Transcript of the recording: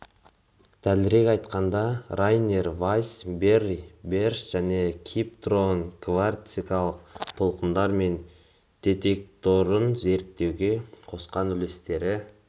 дәлірек айтқанда райнер вайсс берри бэриш және кип торн гравитациялық толқындар мен детекторын зерттеуге қосқан үлестері